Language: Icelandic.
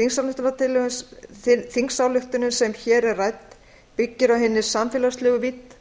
þingsályktunin sem hér er rædd byggir á hinni samfélagslegu vídd